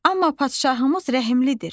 Amma padşahımız rəhimlidir.